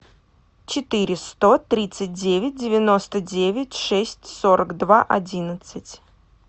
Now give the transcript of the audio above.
четыре сто тридцать девять девяносто девять шесть сорок два одиннадцать